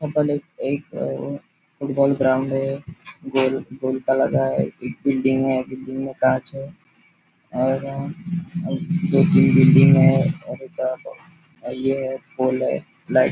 याहा पर इक फुटबॉल ग्राउंड है गोल गोल का लगा है एक बिल्डिंग है बिल्डिंग में कांच है और ए ऐ तीन बिल्डिंग है और एक और ये पोल है लाई --